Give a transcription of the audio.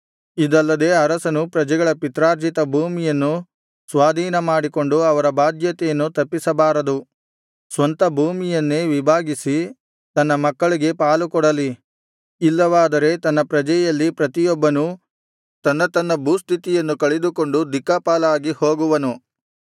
ಇದಲ್ಲದೆ ಅರಸನು ಪ್ರಜೆಗಳ ಪಿತ್ರಾರ್ಜಿತ ಭೂಮಿಯನ್ನು ಸ್ವಾಧೀನ ಮಾಡಿಕೊಂಡು ಅವರ ಬಾಧ್ಯತೆಯನ್ನು ತಪ್ಪಿಸಬಾರದು ಸ್ವಂತ ಭೂಮಿಯನ್ನೇ ವಿಭಾಗಿಸಿ ತನ್ನ ಮಕ್ಕಳಿಗೆ ಪಾಲುಕೊಡಲಿ ಇಲ್ಲವಾದರೆ ನನ್ನ ಪ್ರಜೆಯಲ್ಲಿ ಪ್ರತಿಯೊಬ್ಬನೂ ತನ್ನ ತನ್ನ ಭೂಸ್ಥಿತಿಯನ್ನು ಕಳೆದುಕೊಂಡು ದಿಕ್ಕಾಪಾಲಾಗಿ ಹೋಗುವನು